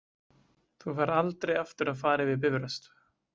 Þú færð aldrei aftur að fara yfir Bifröst.